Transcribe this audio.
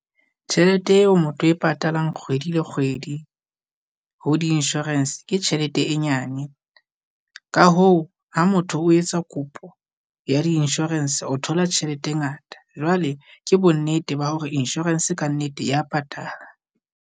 Tjhelete eo motho e patalang kgwedi le kgwedi ho di-insurance, ke tjhelete e nyane, ka hoo ha motho o etsa kopo ya di-insurance o thola tjhelete e ngata. Jwale Ke bonnete ba hore insurance kannete ya patala.